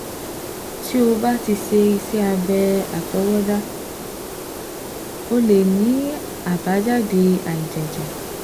Tó o bá ti ṣe iṣẹ́ abẹ́ àtọwọdá, ó lè ní àbájáde àìjẹ́jẹ́